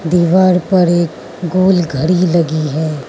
दीवार पर एक गोल घड़ी लगी है।